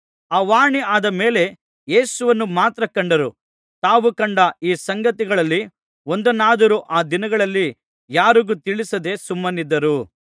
ಆ ವಾಣಿ ಆದ ಮೇಲೆ ಯೇಸುವನ್ನು ಮಾತ್ರ ಕಂಡರು ತಾವು ಕಂಡ ಈ ಸಂಗತಿಗಳಲ್ಲಿ ಒಂದನ್ನಾದರೂ ಆ ದಿನಗಳಲ್ಲಿ ಯಾರಿಗೂ ತಿಳಿಸದೆ ಸುಮ್ಮನಿದ್ದರು